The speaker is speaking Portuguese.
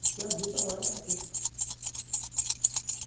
Porque a vida lá é assim.